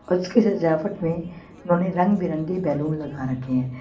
उस कि सजावट में उन्होंने रंग बिरंगे बैलून लगा रखे हैं।